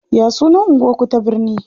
Ya sunan anguwar ku ta birne?